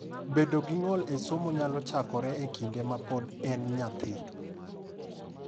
Bedo gi ng’ol e somo nyalo chakore e kinde ma pod en nyathi.